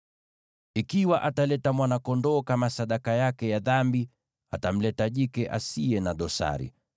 “ ‘Ikiwa ataleta mwana-kondoo kama sadaka yake ya dhambi, atamleta jike asiye na dosari.